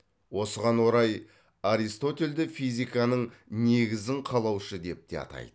осыған орай аристотельді физиканың негізін қалаушы деп те айтады